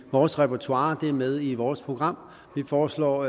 i vores repertoire og dermed i vores program vi foreslår